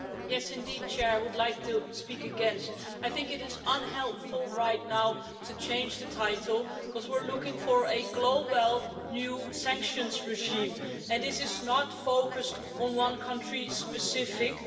Mr President, yes indeed, I would like to speak against. I think it is unhelpful right now to change the title because we're looking for a global new sanctions regime, and this is not focused on one country specifically.